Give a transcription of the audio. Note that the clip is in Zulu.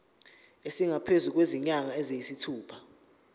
esingaphezu kwezinyanga eziyisithupha